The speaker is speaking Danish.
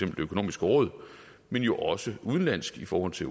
det økonomiske råd men jo også udenlands i forhold til